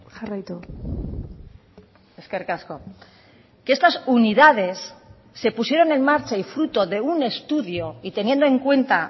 jarraitu eskerrik asko que estas unidades se pusieron en marcha y fruto de un estudio y teniendo en cuenta